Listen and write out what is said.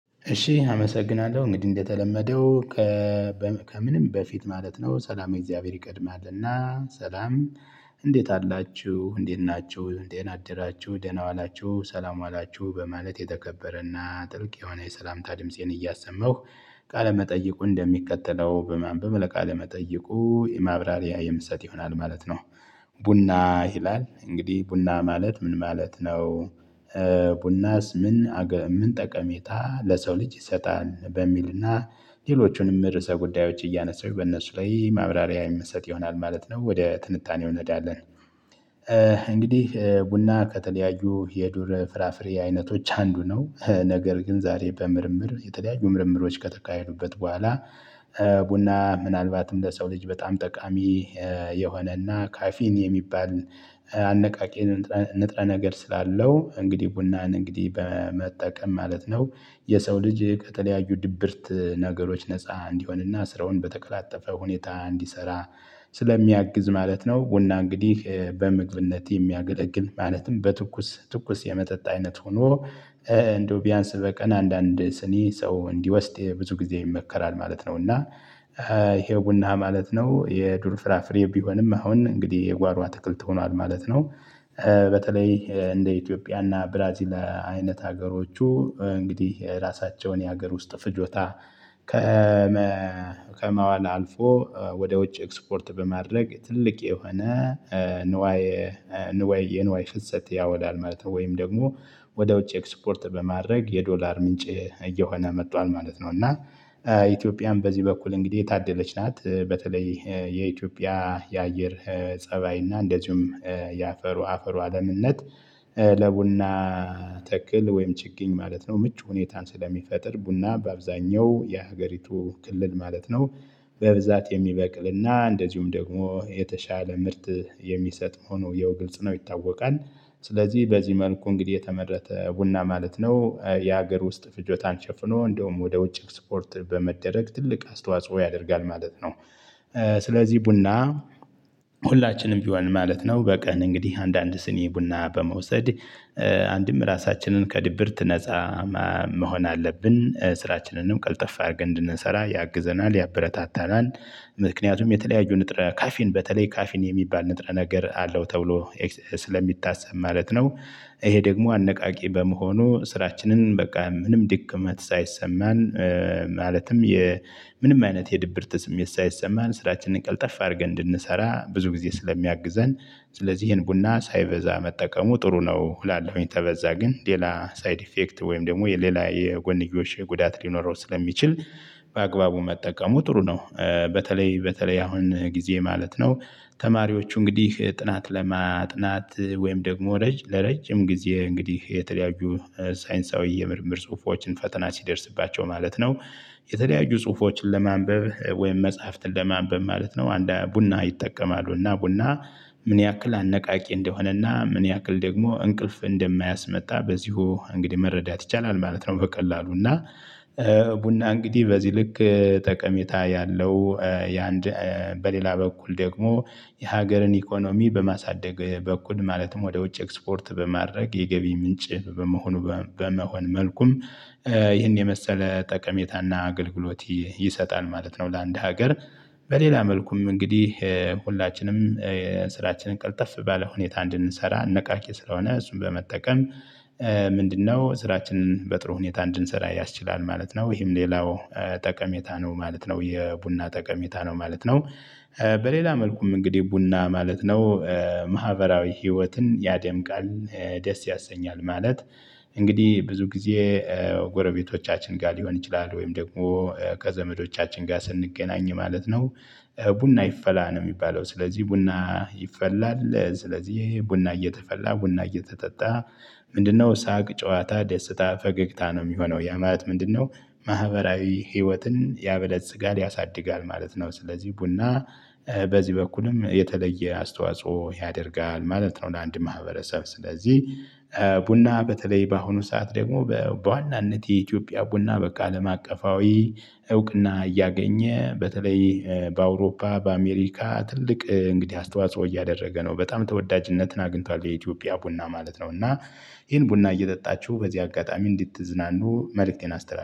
እሺ አመሰግናለሁ እንግዲህ እንደተለመደው ከምንም በፊት ማለት ነው ሰላመ እግዚአብሔር ይቀድማልና ሰላም እንዴት አላችሁ እንዴት ናችሁ ደህና አደራችሁ ደህና ዋላችሁ ሰላም ዋላችሁ በማለት የተከበረና ጥልቅ የሆነ የሰላምታ ድምፄን እያሰማሁ ቃለ መጠይቁን እንደሚከተለው በማንበብ ለቃል መጠይቁ ማብራሪያ የምሰጥ ይሆናል ማለት ነው። ቡና ይላል እንግዲህ ቡና ማለት ምን ማለት ነው? ቡናስ። ምን ጠቀሜታ ለሰው ልጅ ይሰጣል? በሚልና ሌሎቹንም ርዕሰ ጉዳዮች እያነሳው በእነሱ ላይ ማብራሪያ የምንሰጥ ይሆናል ማለት ነው። ወደ ትንታኔው እንሔዳለን። እንግዲህ ቡና ከተለያዩ የዱር ፍራፍሬ አይነቶች አንዱ ነው ነገር ግን ዛሬ በምርምር የተለያዩ ምርምሮች ከተካሄዱበት በኋላ። ቡና ምናልባትም ለሰው ልጅ በጣም ጠቃሚ የሆነና ካፊን የሚባል አነቃቂ ንጥረ ነገር ስላለው እንግዲህ ቡናን እንግዲህ በመጠቀም ማለት ነው። የሰው ልጅ ከተለያዩ ድብርት ነገሮች ነፃ እንዲሆንና ስራውን በተቀላጠፈ ሁኔታ እንዲሰራ ስለሚያግዝ ማለት ነው። ቡና እንግዲህ በምግብነት የሚያገለግል ማለትም በትኩስ ትኩስ የመጠጥ አይነት ሆኖ እንደው ቢያንስ በቀን አንዳንድ ስኒ ሰው እንዲወስድ ብዙ ጊዜ ይመከራል ማለት ነው። እና ይሄው ቡና ማለት ነው የዱር ፍራፍሬ ቢሆንም አሁን እንግዲህ የጓሮ አትክልት ሆኗል ማለት ነው። በተለይ እንደ ኢትዮጵያና ብራዚል አይነት ሀገሮች እንግዲህ ራሳቸውን የሀገር ውስጥ ፍጆታ ከማዋል አልፎ ወደ ውጭ ኤክስፖርት በማድረግ ትልቅ የሆነ የንዋይ ፍሰት ያውላል ማለት ነው። ወይም ደግሞ ወደ ውጭ ኤክስፖርት በማድረግ የዶላር ምንጭ እየሆነ መጥቷል ማለት ነው። እና ኢትዮጵያም በዚህ በኩል እንግዲህ የታደለች ናት። በተለይ የኢትዮጵያ የአየር ፀባይ እና እንደዚሁም የአፈሩ ለምነት ለቡና ተክል ወይም ችግኝ ማለት ነው። ምቹ ሁኔታን ስለሚፈጥር ቡና በአብዛኛው የሀገሪቱ ክልል ማለት ነው በብዛት የሚበቅልና እንደዚሁም ደግሞ የተሻለ ምርት የሚሰጥ መሆኑ ይኸው ግልጽ ነው ይታወቃል። ስለዚህ በዚህ መልኩ እንግዲህ የተመረተ ቡና ማለት ነው የሀገር ውስጥ ፍጆታን ሸፍኖ እንደውም ወደ ውጭ ኤክስፖርት በመደረግ ትልቅ አስተዋጽኦ ያደርጋል ማለት ነው። ስለዚህ ቡና ሁላችንም ቢሆን ማለት ነው በቀን እንግዲህ አንዳንድ ስኒ ቡና በመውሰድ አንድም ራሳችንን ከድብርት ነፃ መሆን አለብን ስራችንንም ቀልጠፍ አድርገን እንድንሰራ ያግዘናል ያበረታታናል። ምክንያቱም የተለያዩ በተለይ ካፊን የሚባል ንጥረ ነገር አለው ተብሎ ስለሚታሰብ ማለት ነው። ይሄ ደግሞ አነቃቂ በመሆኑ ስራችንን በቃ ምንም ድክመት ሳይሰማን ማለትም የምንም አይነት የድብርት ስሜት የሳይሰማን ስራችንን ቀልጠፍ አድርገን እንድንሰራ ብዙ ጊዜ ስለሚያግዘን ስለዚህ ይሄን ቡና ሳይበዛ መጠቀሙ ጥሩ ነው። እላለሁኝ ከበዛ ግን ሌላ ሳይድ ኢፌክት ወይም ደግሞ የሌላ የጎንዮሽ ጉዳት ሊኖረው ስለሚችል በአግባቡ መጠቀሙ ጥሩ ነው። በተለይ በተለይ አሁን ጊዜ ማለት ነው ተማሪዎች እንግዲህ ጥናት ለማጥናት ወይም ደግሞ ለረጅም ጊዜ እንግዲህ የተለያዩ ሳይንሳዊ የምርምር ጽሁፎችን ፈተና ሲደርስባቸው ማለት ነው። የተለያዩ ጽሁፎችን ለማንበብ ወይም መጽሐፍትን ለማንበብ ማለት ነው ቡና ይጠቀማሉ እና ቡና ምን ያክል አነቃቂ እንደሆነና ምን ያክል ደግሞ እንቅልፍ እንደማያስመጣ በዚሁ እንግዲህ መረዳት ይቻላል ማለት ነው። በቀላሉ እና። ቡና እንግዲህ በዚህ ልክ ጠቀሜታ ያለው ያንድ በሌላ በኩል ደግሞ የሀገርን ኢኮኖሚ በማሳደግ በኩል ማለትም ወደ ውጭ ኤክስፖርት በማድረግ የገቢ ምንጭ። በመሆን መልኩም ይህን የመሰለ ጠቀሜታና አገልግሎት ይሰጣል ማለት ነው። ለአንድ ሀገር። በሌላ መልኩም እንግዲህ ሁላችንም ስራችንን ቀልጠፍ ባለ ሁኔታ እንድንሰራ አነቃቂ ስለሆነ እሱን በመጠቀም። ምንድነው? ስራችንን በጥሩ ሁኔታ እንድንሰራ ያስችላል ማለት ነው ይሄም ሌላው ጠቀሜታ ነው ማለት ነው የቡና ጠቀሜታ ነው ማለት ነው። በሌላ መልኩም እንግዲህ ቡና ማለት ነው። ማህበራዊ ህይወትን ያደምቃል። ደስ ያሰኛል ማለት። እንግዲህ ብዙ ጊዜ ጎረቤቶቻችን ጋር ሊሆን ይችላል ወይም ደግሞ ከዘመዶቻችን ጋር ስንገናኝ ማለት ነው። ቡና ይፈላ ነው የሚባለው ስለዚህ ቡና ይፈላል ስለዚህ ይሄ ቡና እየተፈላ ቡና እየተጠጣ። ምንድነው? ሳቅ ጨዋታ ደስታ ፈገግታ ነው የሚሆነው ያ ማለት ምንድነው? ማህበራዊ ህይወትን ያበለጽጋል ያሳድጋል ማለት ነው። ስለዚህ ቡና በዚህ በኩልም የተለየ አስተዋጽኦ ያደርጋል ማለት ነው። ለአንድ ማህበረሰብ ስለዚህ። ቡና በተለይ በአሁኑ ሰዓት ደግሞ በዋናነት የኢትዮጵያ ቡና ከአለም አቀፋዊ እውቅና እያገኘ በተለይ በአውሮፓ በአሜሪካ ትልቅ እንግዲህ አስተዋጽኦ እያደረገ ነው። በጣም ተወዳጅነትን አግኝቷል የኢትዮጵያ ቡና ማለት ነው። እና ይሄን ቡና እየጠጣችሁ በዚህ አጋጣሚ እንድትዝናኑ መልእክቴን አስተላልፏል